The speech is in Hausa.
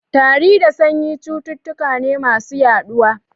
Tari da sanyi cututtuka ne masu yaɗuwa.